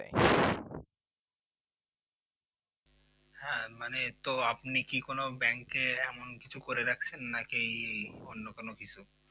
হ্যাঁ মানে তো আপনি আপনি কি কোন bank এমন কিছু করে রাখছেন নাকি নাকি অন্য কোন কিছু